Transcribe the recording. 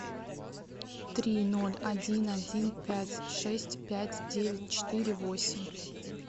три ноль один один пять шесть пять девять четыре восемь